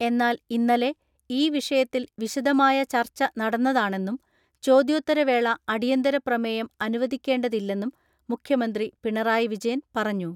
എന്നാൽ ഇന്നലെ ഈ വിഷയത്തിൽ വിശദമായ ചർച്ച നടന്നതാണെന്നും ചോദ്യോത്തരവേള അടിയന്തരപ്രമേയം അനുവദിക്കേണ്ടതില്ലെന്നും മുഖ്യമന്ത്രി പിണറായി വിജയൻ പറഞ്ഞു.